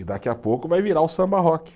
E daqui a pouco vai virar o samba-rock.